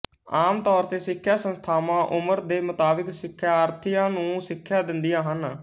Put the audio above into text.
ਆਮ ਤੌਰ ਤੇ ਸਿੱਖਿਆ ਸੰਸਥਾਵਾਂ ਉਮਰ ਦੇ ਮੁਤਾਬਿਕ ਸਿੱਖਿਆਰਥੀਆਂ ਨੂੰ ਸਿੱਖਿਆ ਦਿੰਦੀਆਂ ਹਨ